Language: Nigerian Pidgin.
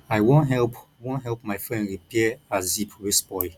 i wan help wan help my friend repair her zip wey spoil